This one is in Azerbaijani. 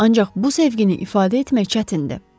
Ancaq bu sevgini ifadə etmək çətindir.